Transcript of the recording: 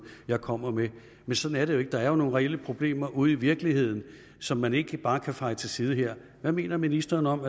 jeg kommer med men sådan er det jo ikke der er jo nogle reelle problemer ude i virkeligheden som man ikke bare kan feje til side her hvad mener ministeren om